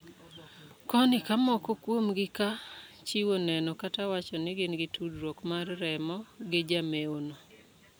Koni ka moko kuomgi ka chiwo neno kata wacho ni gin gi tudruok mar remo gi jamewo no.